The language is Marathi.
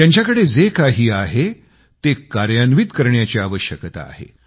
त्यांच्याकडं जे काही आहे ते कार्यान्वित करण्याची आवश्यकता आहे